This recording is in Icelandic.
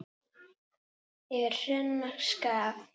Yfir hrönn og skafl!